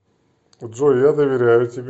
джой я доверяю тебе